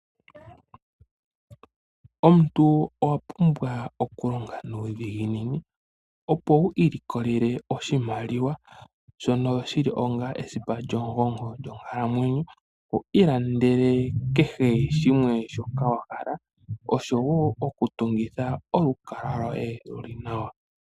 Omuntu owapumbwa okulonga nuudhiginini opo wu ilikolele oshimaliwa shono shili onga esipa lyomugongo lyonkalamwenyo , wiilandele kehe shimwe shoka wahala oshowoo okutungitha olukalwa lwoye luli nawa.